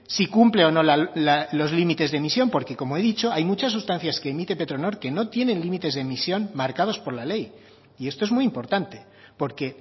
si cumple o no los límites de emisión porque como he dicho hay muchas sustancias que emite petronor que no tiene límites de emisión marcados por la ley y esto es muy importante porque